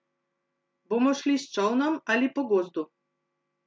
Bomo šli s čolnom ali po gozdu?